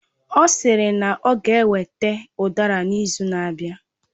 Ọ sịrị na ọ ga eweta udara n'izu na-abịa